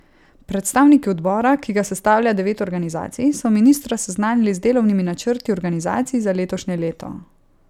Predstavniki odbora, ki ga sestavlja devet organizacij, so ministra seznanili z delovnimi načrti organizacij za letošnje leto.